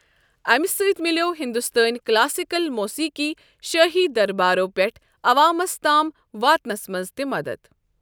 امہِ سۭتۍ مِلیو ہندوستٲنی کلاسیکل موسیٖقی شٲہی دربارو پٮ۪ٹھ عوامَس تام واتنَس منٛز تہِ مدد۔